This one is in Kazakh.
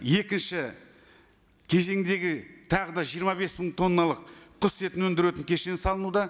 екінші кезеңдегі тағы да жиырма бес мың тонналық құс етін өндіретін кешен салынуда